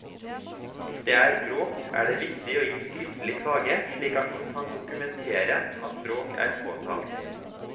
Hvis det er bråk, er det viktig å gi skriftlig klage slik at man kan dokumentere at bråk er påtalt.